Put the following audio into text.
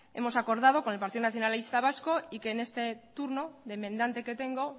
hemos acordado con el partido nacionalista vasco y que en este turno de enmendante que tengo